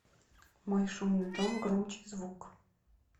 мой шумный дом громче звук